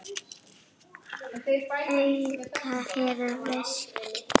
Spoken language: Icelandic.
Haukur hefðu veikst.